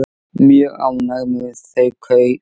Mjög ánægð með þau kaup.